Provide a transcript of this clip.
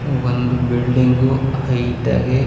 ಒಂದು building height ಆಗ್--